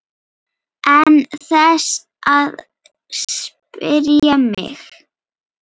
Án þess að spyrja mig?